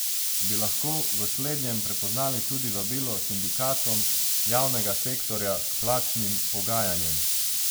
Bi lahko v slednjem prepoznali tudi vabilo sindikatom javnega sektorja k plačnim pogajanjem?